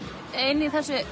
í